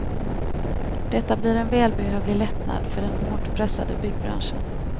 Detta blir en välbehövlig lättnad för den hårt pressade byggbranschen.